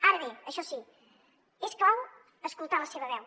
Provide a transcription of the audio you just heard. ara bé això sí és clau escoltar la seva veu